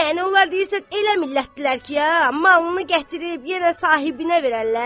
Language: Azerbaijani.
Yəni onlar deyirsən elə millətdirlər ki, ya malını gətirib yenə sahibinə verərlər?